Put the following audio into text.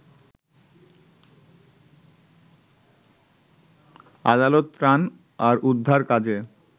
আদালত ত্রাণ আর উদ্ধার কাজে